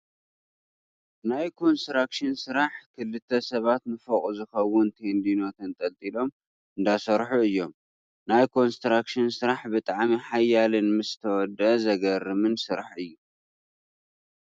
ናይ ኮንስትራክሽን ስራሕ ክልተ ሰባት ንፎቅ ዝከውን ቴንድኖ ተንጠልጢሎም እንዳሰርሑ እዮም። ናይ ኮንስትራክሽን ስራሕ ብጣዕሚ ሓያልን ምስ ተወደአ ዘገርምን ስራሕ እዩ።